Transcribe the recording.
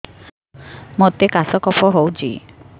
ମୋତେ କାଶ କଫ ହଉଚି